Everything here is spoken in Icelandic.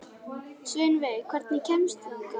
Sveinveig, hvernig kemst ég þangað?